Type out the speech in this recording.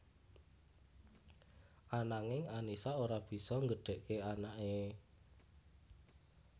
Ananging Annisa ora bisa nggedhéké anaké